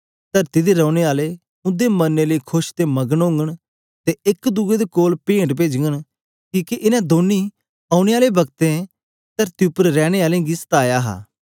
तरती दे रैने आले उंदे मरने लेई खोश ते मगन ओगन ते एक दुए दे कोल पेंट पेजघन किके इन दौनीं औने आले वकतैं तरती उपर रैने आलें गी सताया हा